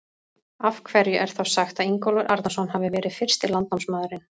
Af hverju er þá sagt að Ingólfur Arnarson hafi verið fyrsti landnámsmaðurinn?